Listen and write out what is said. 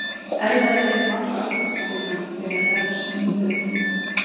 Erfiðara er um alla aðdrætti fyrir hann þegar Refs nýtur ekki við.